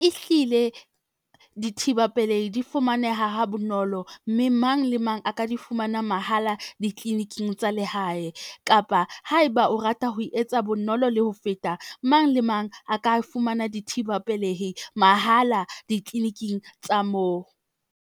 Ehlile, dithiba pelehi di fumaneha ha bonolo, mme mang le mang a ka di fumana mahala ditliliniking tsa lehae. Kapa haeba o rata ho etsa bonolo le ho feta mang le mang a ka fumana dithibe pelehi mahala ditliliniking tsa moo.